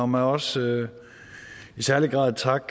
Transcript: mig også i særlig grad takke